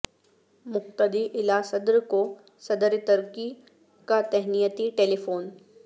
مقتدی الا صدر کو صدر ترکی کا تہنیتی ٹیلی فون